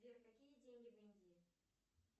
сбер какие деньги в индии